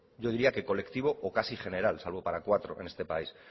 yo diría que colectivo o casi general salvo para cuatro en este país